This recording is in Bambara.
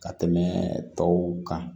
Ka tɛmɛ tɔw kan